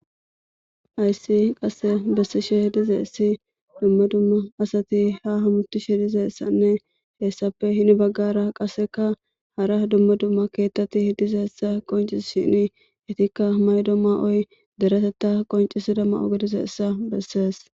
Hayssi qasse bessishe diza issi dumma dumma asati hamatishe diza issanne he issape hini baggara qasseka hara dumma dumma keeththati diza issa qoncissishini etikka maydo mayoyi dereteta qoncissida mayo giddiza issa bessees.